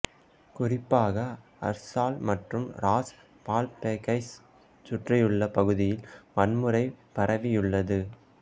குறிப்பாக அர்சால் மற்றும் ராஸ் பால்பெக்கைச் சுற்றியுள்ள பகுதியில் வன்முறை பரவியுள்ளது